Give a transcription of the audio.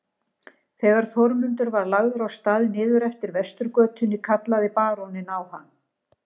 Þegar Þórmundur var lagður af stað niður eftir Vesturgötunni kallaði baróninn á hann.